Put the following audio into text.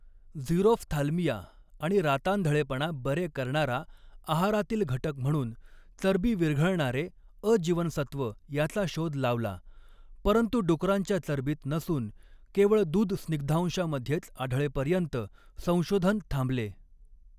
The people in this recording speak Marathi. झीरोफ्थाल्मिया आणि रातांधळेपणा बरे करणारा आहारातील घटक म्हणून 'चरबी विरघळणारे अ जीवनसत्त्व' याचा शोध लावला, परंतु डुकरांच्या चरबीत नसून केवळ दूध स्निग्धांशामध्येच आढळेपर्यंत संशोधन थांबले.